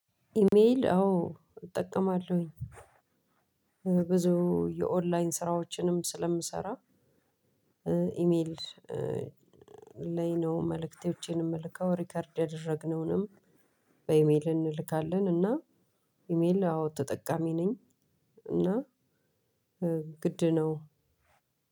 ኢሜል አዎ እጠቀማለሁኝ። ብዙ የኦንላይን ስራዎችንም ስለምሰራ- ኢሜል ላይ ነው መልእክቶቼን የምልከው ሪከርድ ያደረግነውንም- በኢሜል እንልካለን እና ኢሜል አዎ ተጠቃሚ ነኝ። እና ግድ ነው።